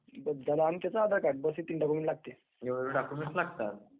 is not clear